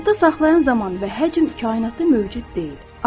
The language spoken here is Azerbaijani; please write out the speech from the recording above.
Yadda saxlayan zaman və həcm kainatda mövcud deyil.